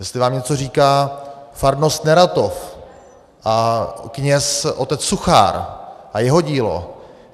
Jestli vám něco říká farnost Neratov a kněz otec Suchár a jeho dílo.